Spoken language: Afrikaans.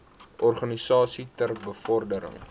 organisasies ter bevordering